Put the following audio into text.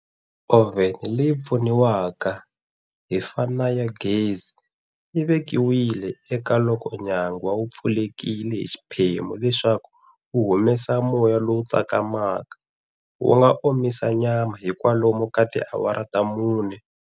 Oven leyi pfuniwaka hi fa na ya gezi yi vekiwile eka, loko nyangwa wu pfulekile hi xiphemu leswaku wu humesa moya lowu tsakamaka, wu nga omisa nyama hi kwalomu ka tiawara ta mune.